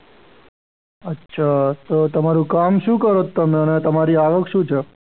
અચ્છા તો તમારું કામ શું કરો છો તમે અને તમારી આવક શું છે?